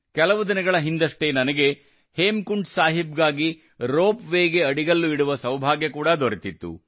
ಕೆಲವು ದಿನಗಳ ಹಿಂದಷ್ಟೇ ನನಗೆ ಹೇಮಕುಂಡ್ ಸಾಹಿಬ್ ಗಾಗಿ ರೋಪ್ ವೇ ಗಾಗಿ ಅಡಿಗಲ್ಲು ಇಡುವ ಸೌಭಾಗ್ಯ ಕೂಡಾ ದೊರೆತಿತ್ತು